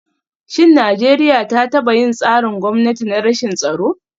Shin Najeriya ta taba yin tsarin gwamnati na rashin tsaro?